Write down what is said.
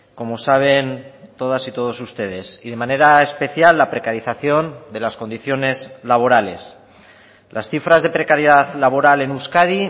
como saben todas y todos ustedes y de manera especial la precarización de las condiciones laborales las cifras de precariedad laboral en euskadi